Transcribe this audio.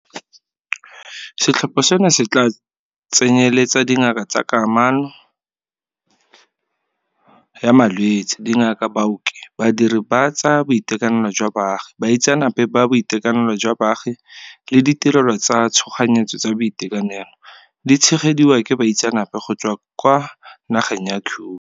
Setlhopha seno se tla tsenyeletsa dingaka tsa kanamo ya malwetse, dingaka, baoki, badiri ba tsa boitekanelo jwa baagi, baitseanape ba boitekanelo jwa baagi le ditirelo tsa tshoganyetso tsa boitekanelo, di tshegediwa ke baitseanape go tswa kwa nageng ya Cuba.